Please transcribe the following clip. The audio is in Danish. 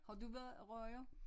Har du været ryger